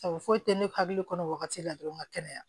Sabu foyi tɛ ne hakili kɔnɔ wagati la dɔrɔn ka kɛnɛya